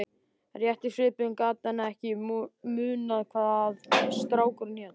Rétt í svipinn gat hann ekki munað hvað strákurinn hét.